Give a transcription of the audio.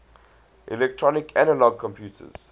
electronic analog computers